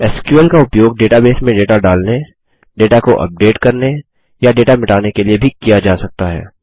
SQL का उपयोग database में डेटा डालने डेटा को अपडेट करने या डेटा मिटाने के लिए भी किया जा सकता हैं